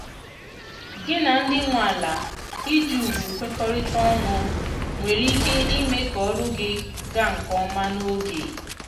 gị na ndị nwe ala iji ùgwù kwekorita ọnụ nwere ike ime ka ọrụ gị ga nke ọma n'oge